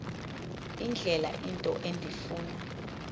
indlela into endifuna